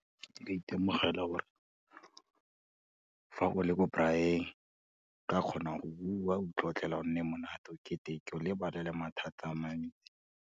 Nka itemogela gore, fa go le bo braai, nka kgona go buwa, o itlotlela gonne monate, o keteke o lebale le mathata a mantsi.